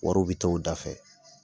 Wariw bɛ t'o u da fɛ.